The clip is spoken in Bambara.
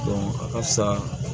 a ka fisa